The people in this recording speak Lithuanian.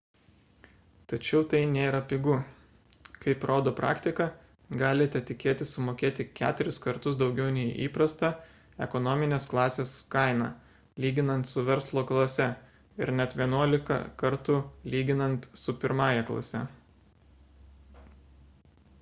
tačiau tai nėra pigu kaip rodo praktika galite tikėtis sumokėti keturis kartus daugiau nei įprasta ekonominės klasės kaina lyginant su verslo klase ir net vienuolika kartų lyginant su pirmąja klase